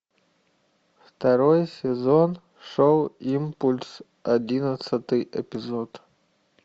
второй сезон шоу импульс одиннадцатый эпизод